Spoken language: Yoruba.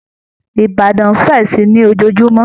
Ìbàdàn nń fẹ̀ si i ni lójòòjúmọ́